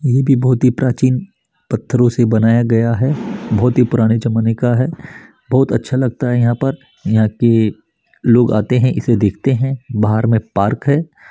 ये भी बहोत ही प्राचीन पत्थरों से बनाया गया है बहोत ही पुराने जमाने का है बहुत अच्छा लगता है यहाँ पर यहाँ के लोग आते है इसे देखते है बाहर मे पार्क है।